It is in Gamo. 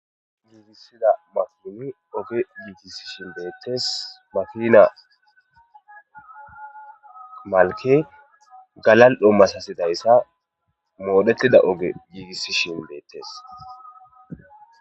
giigissida maimi oge yiigisishin beettes makina malke galal7o masasidayssa moodhettida oge yiigisishin beettes